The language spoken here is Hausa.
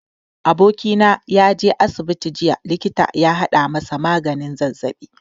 Abokina ya je asibiti jiya likita ya haɗa masa maganin zazzaɓi.